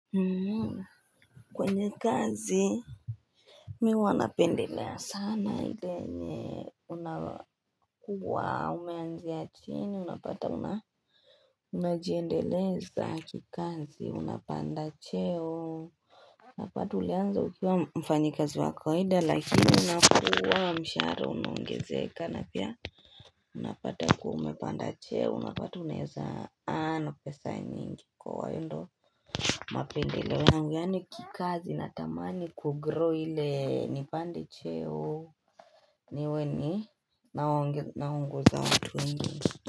Mmmmh kwenye kazi Mi wanapendelea sana ile yenye unakuwa umeanzia chini unapata unajiendeleza kikazi unapanda cheo Napata ulianza ukiwa mfanyi kazi wakawaida lakini unapewa mshahara unaongezeka napia Unapata kuwa umepanda cheo unapata unaeza earn pesa nyingi kwa waendo mapendeleo yangu yaani kikazi natamani kugrow hile nipande cheo niweni naongoza watu wengine.